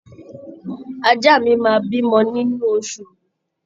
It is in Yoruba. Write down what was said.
Ajá mi máa bímọ nínú oṣù yìí